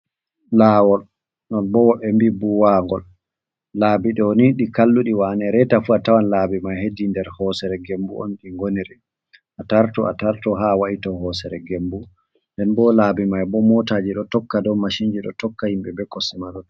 Lawol noo bô embi buwangol, laabi doni di kalludi wane reta fu a tawan laabi mai hedi nder hosere gembu on ɗi ngonire a tartu a tarto ha wa'ito hosere gembu nden bo laabi mai ɓo motaji do tokka do machin ji ɗo tokka himbe be kosemado.